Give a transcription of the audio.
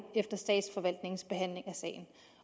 efter statsforvaltningens behandling af sagen